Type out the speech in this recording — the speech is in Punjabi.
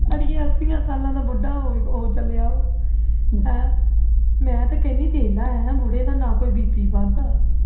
ਅੜੀਏ ਅਸੀਂ ਸਾਲਾਂ ਦਾ ਬੁੱਢਾ ਹੋ ਚੱਲਿਆ ਉਹ ਤੇ ਮੈਂ ਕਹਿੰਦੀ ਆਂ ਦੇਖਲਾ ਬੁੜ੍ਹੇ ਦਾ ਕੋਈ bp ਨਹੀਂ ਵਸਦਾ